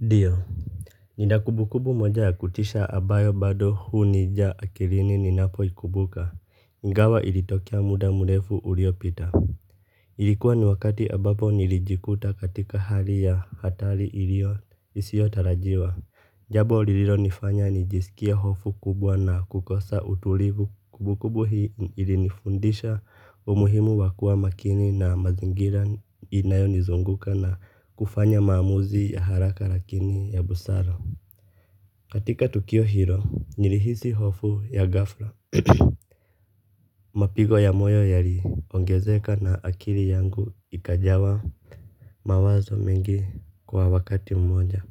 Ndio, nina kumbukumbu moja ya kutisha ambayo bado hunija akilini ni napoikumbuka, ingawa ilitokea muda mrefu uliopita. Ilikuwa ni wakati ambapo nilijikuta katika hali ya hatari iliyo isiyo tarajiwa jambo lililo nifanya nijisikie hofu kubwa na kukosa utulivu kumbukumbu hii ilinifundisha umuhimu wa kuwa makini na mazingira inayonizunguka na kufanya maamuzi ya haraka lakini ya busara, katika tukio hilo nilihisi hofu ya ghafla. Mapigo ya moyo yaliongezeka na akili yangu ikajawa mawazo mengi kwa wakati mmoja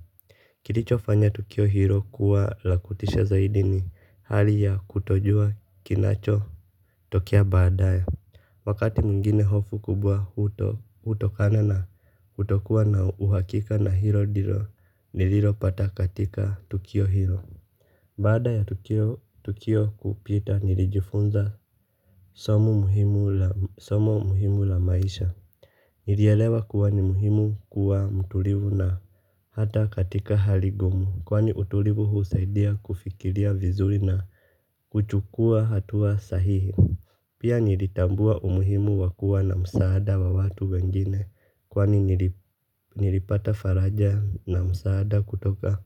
kilicho fanya tukio hilo kuwa la kutisha zaidi ni hali ya kutojua kinachotokea badaye wakati mwingine hofu kubwa hutokana na kutokuwa na uhakika na hilo ndilo nililo pata katika tukio hilo. Baada ya tukio kupita nilijifunza somo muhimu la maisha. Nilielewa kuwa ni muhimu kuwa mtulivu na hata katika hali ngumu kwani utulivu husaidia kufikiria vizuri na kuchukua hatua sahihi pia nilitambua umuhimu wa kuwa na msaada wa watu wengine kwani nilipata faraja na msaada kutoka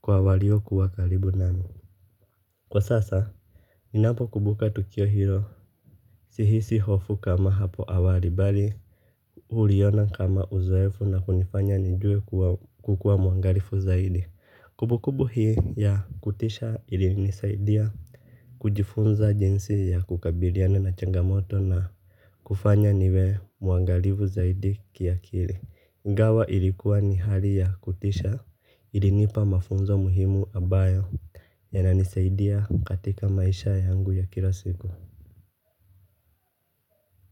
kwa walio kuwa karibu nami kwa sasa, ninapo kumbuka tukio hilo, sihisi hofu kama hapo awali bali, huliona kama uzoefu na kunifanya nijue kukuwa muangalifu zaidi. Kumbu kumbu hii ya kutisha ili nisaidia kujifunza jinsi ya kukabiliana na changamoto na kufanya niwe muangalifu zaidi kiakili. Ingawa ilikuwa ni hali ya kutisha ilinipa mafunzo muhimu ambayo ya inanisaidia katika maisha yangu ya kila siku.